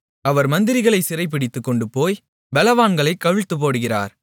அவர் மந்திரிகளைச் சிறைபிடித்துக் கொண்டுபோய் பெலவான்களைக் கவிழ்த்துப்போடுகிறார்